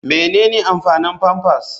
Menene amfanin pampers?